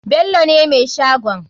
Bello ne mai shagon.